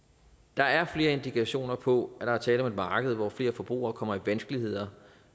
der er flere indikationer på at der er tale om et marked hvor flere forbrugere kommer i vanskeligheder